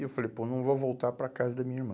E eu falei, pô, não vou voltar para a casa da minha irmã.